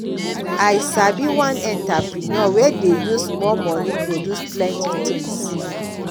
i sabi one entreprenuer wey dey use small moni produce plenty tins